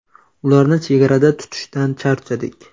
Ularni chegarada tutishdan charchadik.